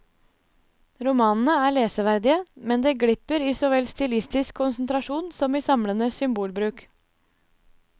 Romanene er leseverdige, men det glipper i så vel stilistisk konsentrasjon som i samlende symbolbruk.